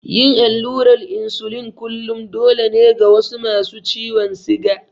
Yin allurar insulin kullum dole ne ga wasu masu ciwon siga.